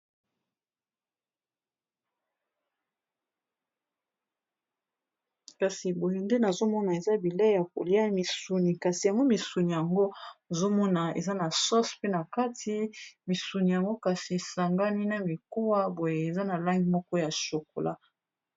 Kasi boye nde nazomona eza bileyi ya koliya, misuni kasi yango misuni yango nazomona eza na sauce pe na kati misuni yango kasi esangani na mikuwa boye eza na langi moko ya chocolat.